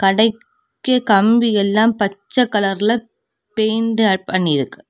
கடைக்கு கம்பியெல்லா பச்ச கலர்ல பெயின்ட் பண்ணியிருக்கு.